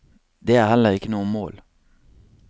Det er heller ikke noe mål.